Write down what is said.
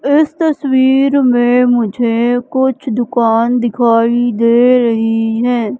इस तस्वीर में मुझे कुछ दुकान दिखाई दे रही हैं।